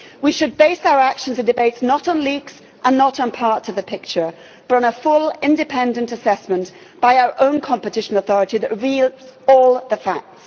We should base our actions and debates not on leaks and not on part of the picture, but on a full, independent assessment by our own competition authority that reveals all the facts.